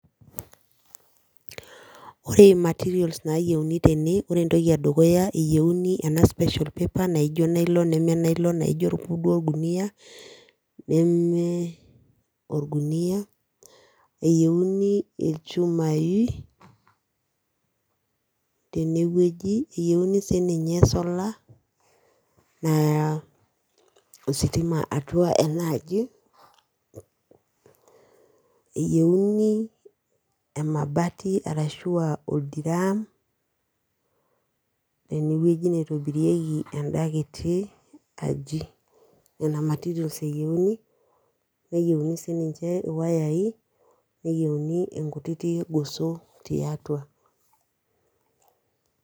Ore materials naayieuni tene ore entoki edukuya eyieuni ena special paper naijo nylon neme nylon naa ijio ake duo orgunia neme orgunia eyieuni ilchumai tenewueji eyieuni sininye solar naya ositima atua ena aji eyieuni emabati ashu aa oldram tenewueji naitobirieki enda kiti aji nena materials eyieuni neyieuni sininche iwayai neyeiuni nkutiti goso tiatua.